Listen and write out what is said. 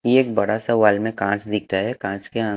ये एक बड़ा सा वाल में काँच दिखता है काँच के आ --